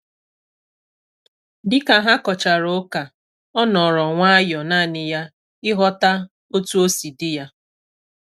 Dịka ha kochara ụka, ọ nọrọ nwayọ nanị ya ịghọta otu osi dị ya